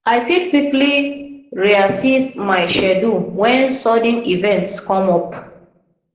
i fit quickly reassess my schedule when sudden events come up